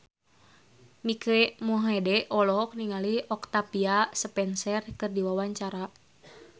Mike Mohede olohok ningali Octavia Spencer keur diwawancara